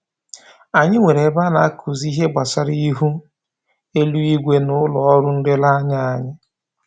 Anyị nwere ebe a na-akụzi ihe gbasara ihu eluigwe n'ụlọ ọrụ nlereanya anyị